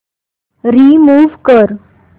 remove कर